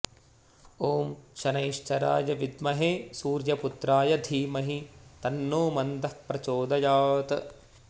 ॐ शनैश्चराय विद्महे सूर्यपुत्राय धीमहि तन्नो मन्दः प्रचोदयात्